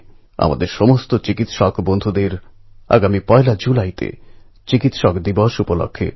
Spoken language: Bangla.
তার বাবা আজীবন আস্তাকুঁড়ের আবর্জনা কুড়িয়ে পরিবারের ভরণপোষণ করে এসেছেন